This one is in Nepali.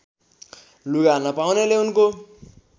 लुगा नपाउनेले उनको